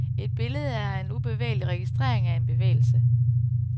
Et billede er en ubevægelig registrering af en bevægelse.